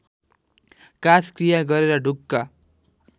काजक्रिया गरेर ढुक्क